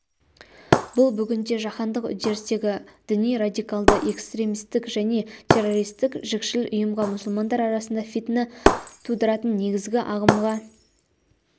бұл бүгінде жаһандық үдерістегі діни-радикалды эстремистік және террористік жікшіл ұйымға мұсылмандар арасында фитна тудыратын негізгі ағымға